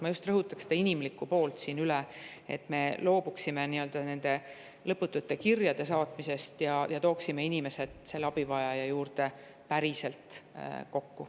Ma just rõhutaks üle seda inimlikku poolt, et me loobuksime nende lõputute kirjade saatmisest ja tooksime selle abivajaja juurde päriselt kokku.